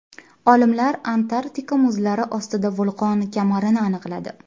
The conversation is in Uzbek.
Olimlar Antarktida muzlari ostida vulqon kamarini aniqladi.